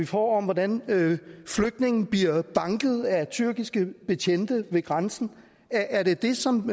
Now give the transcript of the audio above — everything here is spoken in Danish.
får om hvordan flygtninge bliver banket af tyrkiske betjente ved grænsen er det det som